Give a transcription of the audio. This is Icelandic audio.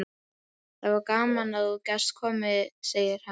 Það var gaman að þú gast komið, segir Hemmi.